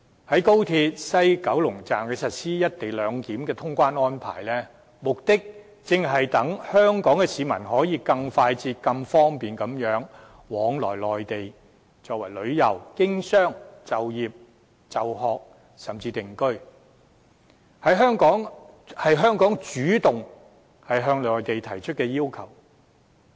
在高鐵西九龍站實施"一地兩檢"的通關安排，目的正是讓香港市民可以更快捷方便地往來內地，到內地旅遊、經商、就業、就學甚至定居，這是香港主動向內地提出的要求。